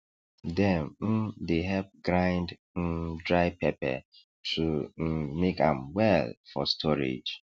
dem um dey help grind um dry pepper to um keep am well for storage